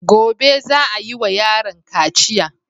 Gobe za a yiwa yaron kaciya.